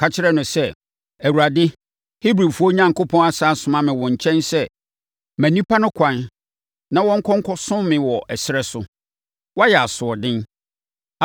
Ka kyerɛ no sɛ, ‘ Awurade, Hebrifoɔ Onyankopɔn asane asoma me wo nkyɛn sɛ ma nnipa no ɛkwan na wɔnkɔ nkɔsom me wɔ ɛserɛ so. Woayɛ asoɔden.